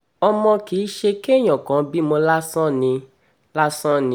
ọmọ kì í ṣe kéèyàn kàn bímọ lásán ni lásán ni